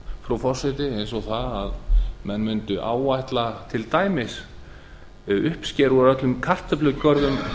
frú forseti eins og það að menn mundu áætla til dæmis við uppskeru úr öllum kartöflugörðum